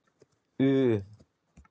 U